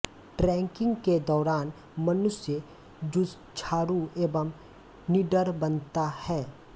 trekking के दौरान मनुष्य जुझारु एवं निडर बनता है